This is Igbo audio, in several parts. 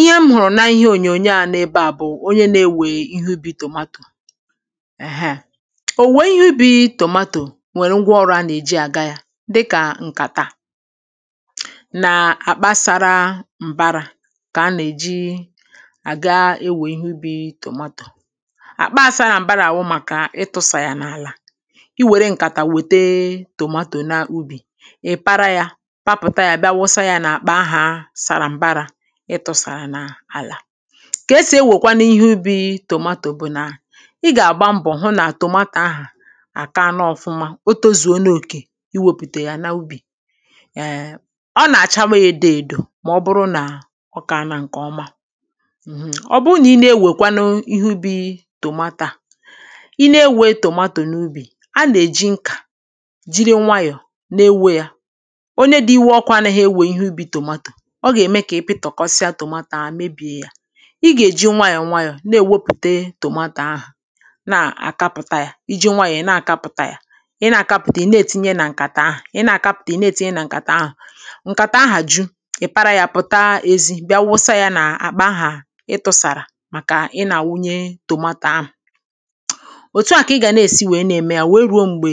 ihe m hụ̀rụ̀ n’ihe ònyònyo à nọ ebeà bụ̀ onye na-ewè ihe ubi̇ tòmatò èheè, òwèwè ihe ubi̇ tòmatò nwerè ngwa ọrụ̇ a nà-èji àga yȧ dịkà ǹkàtà nà àkpa sȧra m̀bara kà a nà-èji àga ewè ihe ubi̇ tòmatò àkpa a sȧrȧ m̀bàrà bụ kà ịtụ̇sà yà n’àlà i wère ǹkàtà wète tòmatò n’ubì ị̀ para yȧ kà esì ewèkwanụ ihe ubi̇ tòmatò bụ̀ nà ị gà-àgba mbọ̀ hụ nà tòmatò ahà àkaana ọ̀fụma o tȯzùo n’okė iwèpùtè ya n’ubì ee ọ nà-àchawa yȧ èdo èdò mà ọ bụrụ nà ọ kȧana ǹkè ọma mhm, ọ bụụ nà i na-ewèkwanụ ihe ubi̇ tòmatò a i na-ewė e tòmatò n’ubì a nà-èji nkà jiri nwayọ̀ na-ewe yȧ onye dị iwe ọkụ ana hȧ ewe ihe ubi̇ tòmatò i gà-èji nwayọ̀ nwayọ̀ na-èwepùte tòmatò ahụ̀ na-àkapụ̀ta yȧ iji̇ nwayọ̀ na-àkapụ̀ta yȧ ị na-àkapụ̀ta ị na-ètinye nà ǹkàtà ahụ̀, ị na-àkapụ̀ta ị na-ètinye nà ǹkàtà ahụ̀ ǹkàtà ahụ̀ ju, ị̀ para yȧ pụ̀taa ėzi, bịa wụsa yȧ n’àkpà ahà ị tụ̇sàrà màkà ị nȧ-àwunye tòmatò ahụ̀ òtù a kà ị gà na-èsi wèe na-ème yȧ wèe rùo m̀gbè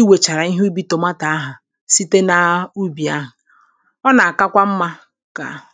i wèchàrà ihe ubi̇ tòmatò ahụ̀ site naa ubì ahụ̀ ha